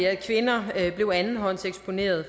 at kvinder blev andenhåndseksponeret